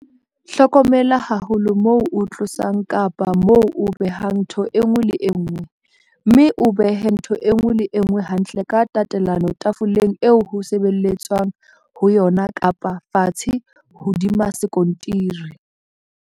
Hlokomela haholo moo o tlosang kapa moo o behang ntho e nngwe le e nngwe, mme o behe ntho e nngwe le e nngwe hantle ka tatelano tafoleng eo ho sebelletswang ho yona kapa fatshe hodima sekontiri.